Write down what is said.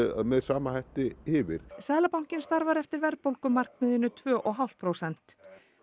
með sama hætti yfir seðlabankinn starfar eftir verðbólgumarkmiðinu tvö og hálft prósent